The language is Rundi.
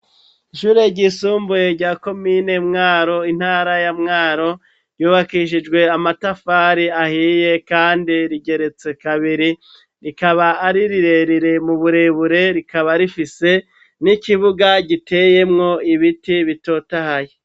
ishure ry'isumbuye rya komine Mwaro intara ya Mwaro, yubakishijwe amatafari ahiye kandi rigeretse kabiri, rikaba ari rirerire mu burebure rikaba rifise n'ikibuga giteyemwo ibiti bitotahaye.